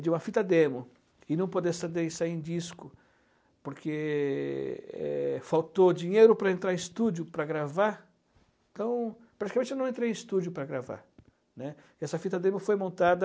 de uma fita demo e não poder sair em disco porque é, faltou dinheiro para entrar em estúdio para gravar então praticamente eu não entrei em estúdio para gravar, né essa fita demo foi montada